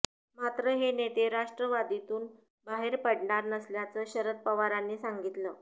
मात्र हे नेते राष्ट्रवादीतून बाहेर पडणार नसल्याचं शरद पवारांनी सांगितलं